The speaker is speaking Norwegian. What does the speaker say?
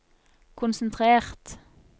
konsentrert